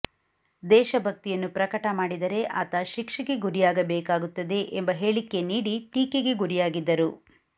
ದೇಶ ಭಕ್ತಿಯನ್ನು ಪ್ರಕಟಮಾಡಿದರೆ ಆತ ಶಿಕ್ಷೆಗೆ ಗುರಿಯಾಗಬೇಕಾಗುತ್ತದೆ ಎಂಬ ಹೇಳಿಕೆ ನೀಡಿ ಟೀಕೆಗೆ ಗುರಿಯಾಗಿದ್ದರು